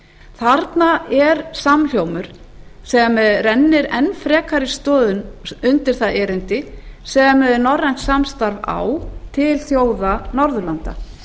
þarna er samhljómur sem rennir enn frekari stoðum undir það erindi sem norrænt samstarf á til þjóða norðurlanda